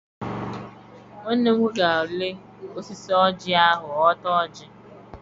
Nwanne m nwoke ga-arị osisi ọjị ahụ họta ọjị.